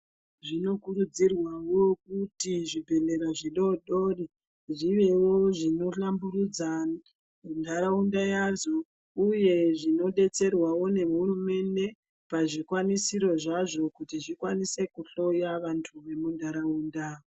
Zvinokurudzirwavo kuti zvibhedhlera zvidodori zvivevo zvinohlamburudza muntaraunda yazvo, uye zvinobetserwavo nehurumende pazvikwanisiro zvazvo kuti tikwanise kuhloya vantu vemuntaraunda.